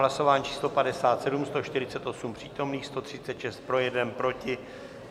Hlasování číslo 57, 148 přítomných, 136 pro, 1 proti.